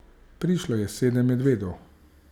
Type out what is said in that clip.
Prišlo je sedem medvedov.